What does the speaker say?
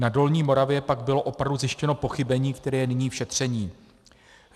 Na Dolní Moravě pak bylo opravdu zjištěno pochybení, které je nyní v šetření.